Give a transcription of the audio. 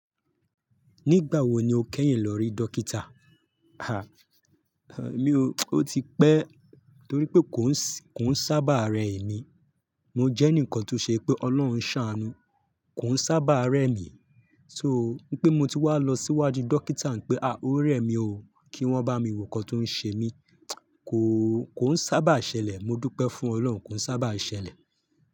Nígbà wo ni o kẹ́yìn lọ rí dókítà? À, mí ò, ó ti pẹ́ torí pé kò ń ṣí, kò ń sábà rẹ emi. Mo jẹ́ ǹkan tó ṣe pé Ọlọ́run ṣàánú, kò ń sábà rẹ mi. So ní pé mo ti wá lọ síwájú dókítà ń pé, à o rẹ mi o, kí wọ́n bá mi wo ǹkan tó ń ṣe mí. Kò, kò ń sábà ṣẹlẹ̀. Mo dúpẹ́ fún Ọlọ́run, kò ń sábà ṣẹlẹ̀.